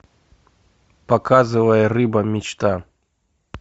показывай рыба мечта